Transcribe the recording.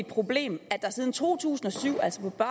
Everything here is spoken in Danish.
problem at der siden to tusind og syv altså på